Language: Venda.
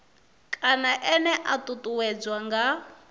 kana ene a ṱuṱuwedzwa nga